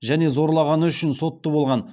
және зорлағаны үшін сотты болған